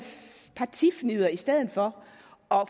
partifnidder i stedet for